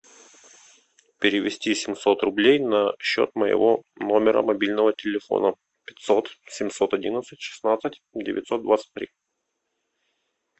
перевести семьсот рублей на счет моего номера мобильного телефона пятьсот семьсот одиннадцать шестнадцать девятьсот двадцать три